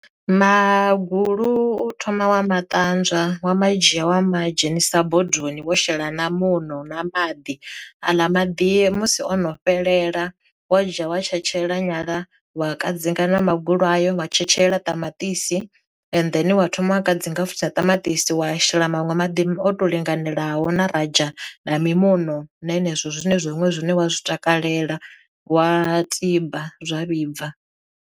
Magulu u thoma wa ma ṱanzwa wa madzhia wa ma dzhenisa bodoni wo shela na muṋo na maḓi aḽa maḓi musi o no fhelela wa dzhia wa tshetshelela nyala wa kadzinga na magulu ayo wa tshetshelela ṱamaṱisi and then wa thoma a kadzinga futhi ṱamaṱisi wa shela maṅwe maḓi o to linganelaho na radzha na mimuṋo na henezwo zwine zwa huṅwe zwine wa zwi takalela wa tiba zwa vhibva.